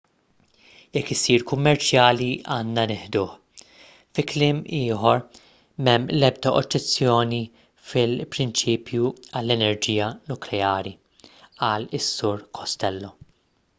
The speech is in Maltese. jekk isir kummerċjali għandna nieħduh fi kliem ieħor m'hemm l-ebda oġġezzjoni fil-prinċipju għall-enerġija nukleari qal is-sur costello